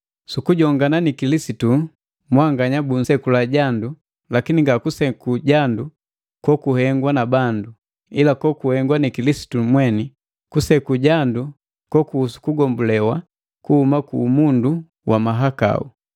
Sukujongana ni Kilisitu mwanganya busekula jandu, lakini nga kuseku jandu kokuhengwa na bandu, ila kokuhengwa ni Kilisitu mweni, kuseku jandu kokuhusu kugombulewa kuhuma ku umundu wa mahakau.